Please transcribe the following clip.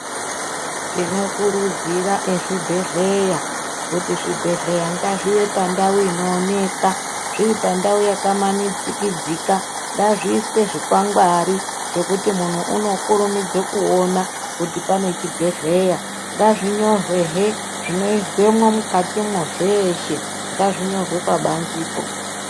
Tinokurudzira ezvi bhedhleya, kuti zvibhedhleya ngazvive pandau inooneka . Zviri pandau yakamanikidzika zviiswe zvikwangwani zvekuti muntu unokurumudza kuona kuti pane chibhedhleya .Ngazvinyorwehe zvinoizwemwo mukatimwo zveeshe ,ngazvinyorwe pabanzepo.